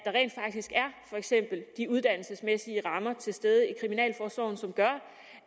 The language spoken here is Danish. for eksempel de uddannelsesmæssige rammer til stede i kriminalforsorgen som gør